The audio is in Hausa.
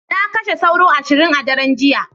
Na kashe sauro ashirin a daren jiya.